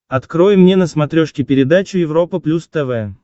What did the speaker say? открой мне на смотрешке передачу европа плюс тв